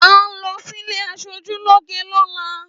À ń lo sílé aṣojú lóge lọ́la.